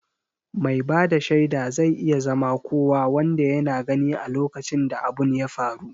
Mai bada shaida zai iya zama kowa wanda yana gani a lokacin da abun ya faru